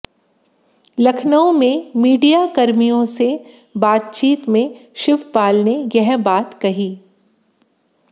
लखनऊ में मीडियाकर्मियों से बातचीत में शिवपाल ने यह बात कही